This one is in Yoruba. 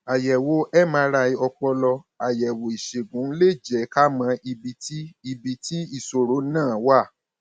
àyẹwò mri ọpọlọ àyẹwò ìṣègùn lè jẹ ká mọ ibi tí ibi tí ìṣòro náà wà